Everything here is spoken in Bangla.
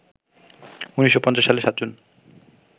১৯৫০ সালের ৭ জুন